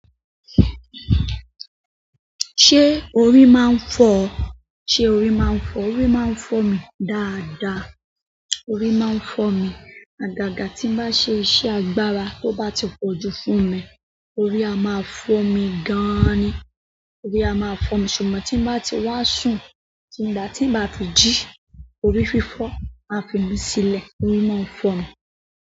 Se orí ma n fo o? Se o ri man fo o. Orí máa ń fọ́ mi dáadáa. Orí máa ń fọ́ mi. Àgàgà tí mo bá ṣe iṣẹ́ agbára, ti ó bá ti pọ̀jù fún mi, orí á máa fọ́ mi gan-an ni. Orí á máa fọ́ mi. Ṣùgbọ́n tí mo bá ti wá sùn, nígbà tí ma bá fijí, orí fífọ́ máa fi mí sílẹ̀. Orí máa ń fọ́ mi.